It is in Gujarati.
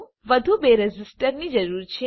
આપણને વધુ બે રેઝિસ્ટરની જરૂર છે